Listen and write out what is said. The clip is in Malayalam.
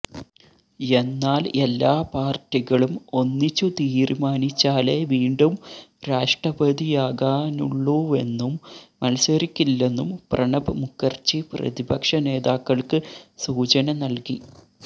എന്നാല് എല്ലാ പാര്ട്ടികളും ഒന്നിച്ചു തീരുമാനിച്ചാലേ വീണ്ടും രാഷ്ടപതിയാകാനുള്ളൂവെന്നും മത്സരിക്കില്ലെന്നും പ്രണബ് മുഖര്ജി പ്രതിപക്ഷ നേതാക്കള്ക്ക് സൂചന നല്കി